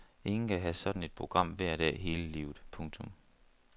Ingen kan have sådan et program hver dag hele livet. punktum